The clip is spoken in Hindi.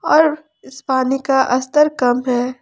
और इस पानी का अस्तर कम है।